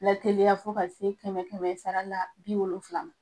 Lateliya fo ka se kɛmɛ kɛmɛ sara la bi wolonfila .